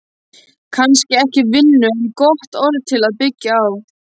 Kannski ekki vinnu en gott orð til að byggja á.